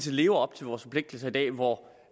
lever op til vores forpligtelser i dag hvor